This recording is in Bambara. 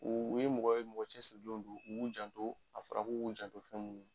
Uu u ye mɔgɔ ye mɔgɔ cɛsirilenw don. u y'u janto a fɔrɔ k'u k'u janto fɛn mun na.